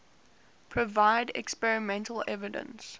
provide experimental evidence